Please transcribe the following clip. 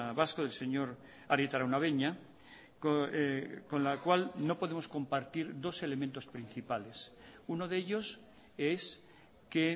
vasco del señor arieta araunabeña con la cual no podemos compartir dos elementos principales uno de ellos es que